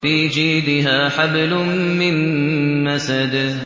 فِي جِيدِهَا حَبْلٌ مِّن مَّسَدٍ